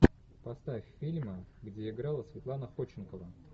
поставь фильмы где играла светлана ходченкова